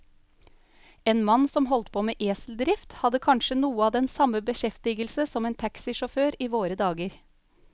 En mann som holdt på med eseldrift, hadde kanskje noe av den samme beskjeftigelse som en taxisjåfør i våre dager.